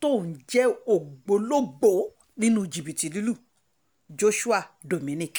tóun jẹ́ ògbólógbòó nínú jìbìtì lílu joshua dominic